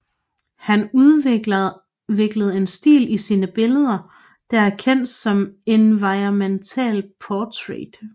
Han udviklede en stil i sine billeder der er kendt som environmental portrait